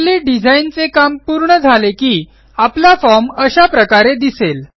आपले डिझाईनचे काम पूर्ण झाले की आपला फॉर्म अशा प्रकारे दिसेल